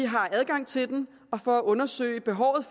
har adgang til den og for at undersøge behovet